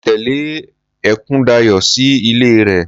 Mo tẹle Ekundayo sí ilé rẹ.